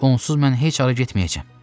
Onsuz mən heç hara getməyəcəm.